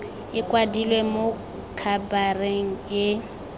e kwadilwe mo khabareng e